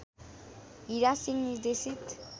हीरा सिंह निर्देशित